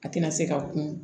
A tɛna se ka kun